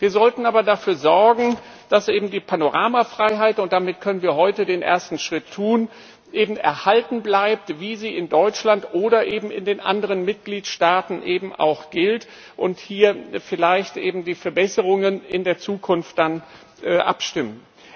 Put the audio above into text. Wir sollten aber dafür sorgen, dass eben die Panoramafreiheit und damit können wir heute den ersten Schritt tun erhalten bleibt, wie sie in Deutschland oder in den anderen Mitgliedstaaten auch gilt, und hier vielleicht die Verbesserungen in der Zukunft dann abstimmen.